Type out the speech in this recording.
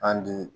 An di